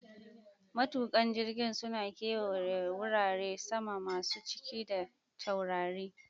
Matukan jirgin suna kewaya wurare sama masu cike da taurari